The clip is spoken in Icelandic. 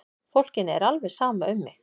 Fólkinu er alveg sama um mig!